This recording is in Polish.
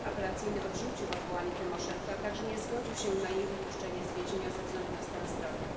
sąd apelacyjny odrzucił odwołanie Tymoszenko, a także nie zgodził się na jej wypuszczenie z więzienia ze względu na stan zdrowia.